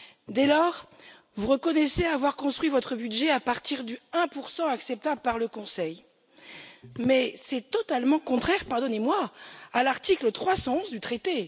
Dès lors, vous reconnaissez avoir construit votre budget à partir du 1 acceptable par le Conseil, mais c'est totalement contraire pardonnez moi à l'article 311 du traité.